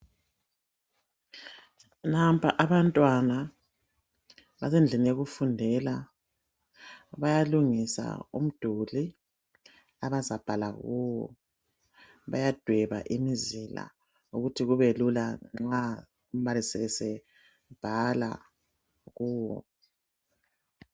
Nampa abantwana basendlini yokufundela bayalungisa umduli abazabhala kuwo, ukuthi kubelula nxa umbalisi esebhala kuwo.